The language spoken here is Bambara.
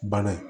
Bana ye